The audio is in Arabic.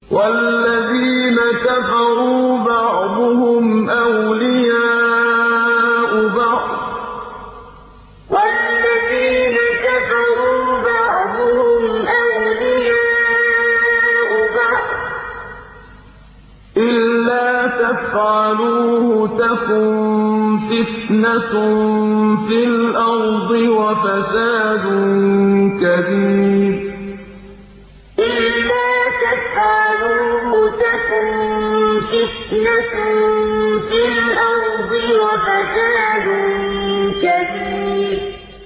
وَالَّذِينَ كَفَرُوا بَعْضُهُمْ أَوْلِيَاءُ بَعْضٍ ۚ إِلَّا تَفْعَلُوهُ تَكُن فِتْنَةٌ فِي الْأَرْضِ وَفَسَادٌ كَبِيرٌ وَالَّذِينَ كَفَرُوا بَعْضُهُمْ أَوْلِيَاءُ بَعْضٍ ۚ إِلَّا تَفْعَلُوهُ تَكُن فِتْنَةٌ فِي الْأَرْضِ وَفَسَادٌ كَبِيرٌ